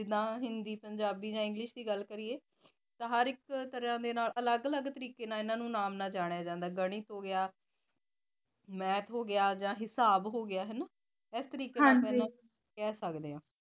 ਅਲੱਗ ਅਲੱਗ ਤਰੀਕੇ ਦੇ ਨਾਲ ਜਾਣਿਆ ਜਾਂਦਾ ਗਣਿਤ ਹੋ ਗਿਆ math ਹੋ ਗਿਆ ਜਾ ਹਿਸਾਬ ਹੋ ਗਿਆ ਹਨਾ ਇਸ ਤਰੀਕੇ ਦੇ ਨਾਲ